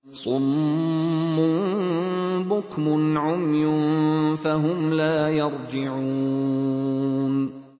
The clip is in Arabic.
صُمٌّ بُكْمٌ عُمْيٌ فَهُمْ لَا يَرْجِعُونَ